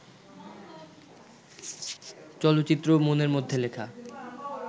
চলচ্চিত্র 'মনের মধ্যে লেখা'